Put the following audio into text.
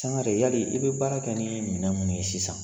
Sangare yali i be baara kɛ ni minɛn minnu ye sisan